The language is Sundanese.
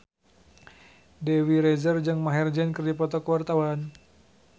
Dewi Rezer jeung Maher Zein keur dipoto ku wartawan